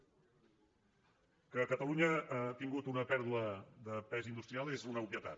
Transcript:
que catalunya ha tingut una pèrdua de pes industrial és una obvietat